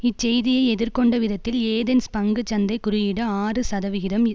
இச்செய்தியை எதிர்கொண்ட விதத்தில் ஏதென்ஸ் பங்கு சந்தை குறியீடு ஆறு சதவிகிதம்